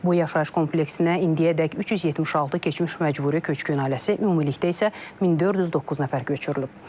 Bu yaşayış kompleksinə indiyədək 376 keçmiş məcburi köçkün ailəsi, ümumilikdə isə 1409 nəfər köçürülüb.